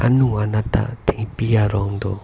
anung anat ta thengpi arong do.